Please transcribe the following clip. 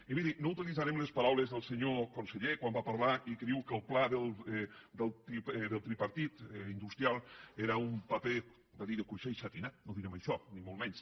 i miri no utilitzarem les paraules del senyor conseller quan va parlar i que diu que el pla industrial del tripartit era un paper va dir de cuixé i setinat no direm això ni molt menys